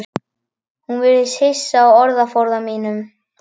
Hún virðist hissa á orðaforða mínum.